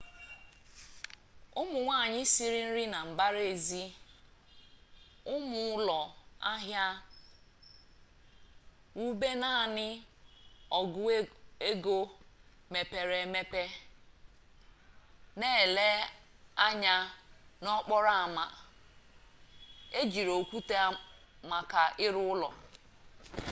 ụmụ nwanyị siri nri na mbara eze ụmụ ụlọ ahịa wụbụ naanị ọgụego mepere emepe na-elefe anya n'okporo ama e jire okwute maka ịrụ ụlọ